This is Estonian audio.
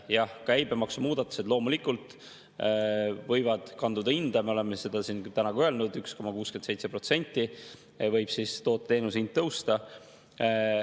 Jah, käibemaksumuudatused loomulikult võivad kanduda hinda, me oleme seda siin täna ka öelnud, et 1,67% võib toote-teenuse hind tõusta.